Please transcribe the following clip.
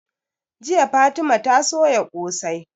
Jiya fatima ta soya ƙosai